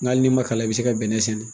Ŋ'al n'i ma kalan i bɛ se ka bɛnɛ sɛnɛ.